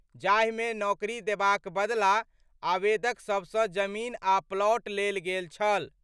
जाहि मे नौकरी देबाक बदला आवेदक सभ सं जमीन आ प्लॉट लेल गेल छल।